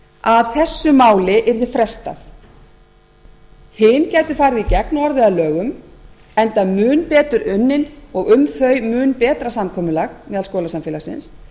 að þessu máli yrði frestað hin gætu farið í gegn og orðið að lögum enda mun betur unnin og um þau mun betra samkomulag meðal skólasamfélagsins